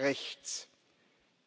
Rechts.